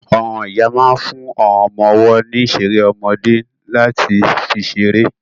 Àwọn ìyá máa ń fún àwọn ọmọ ọwọ́ ní ìṣeré ọmọdé láti fi ṣeré.